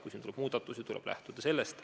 Kui tuleb muudatusi, tuleb lähtuda neist.